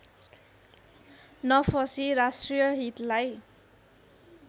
नफसी राष्ट्रिय हितलाई